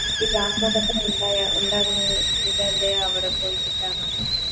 ഇതല്ലേ അവിടെ പോയി കിട്ടാനുള്ളു